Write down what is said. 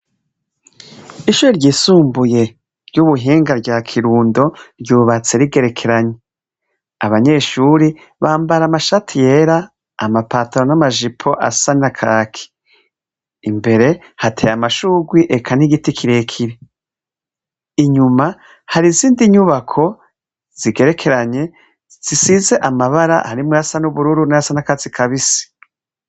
Ishuri ryisumbuye ry'ubuhinga rya kirundo ryubatse rigerekeranye abanyeshuri bambara amashatu yera amapataro n'amajipo asanya kaki imbere hateye amashugwi eka n'igiti kirekibi inyuma hari isindi nyubako zigerekeranye zisize amabara harimwo yasan'ubururu n'yasanakatsi kabise.